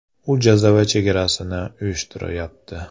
“U jazava chegarasini uyushtiryapti.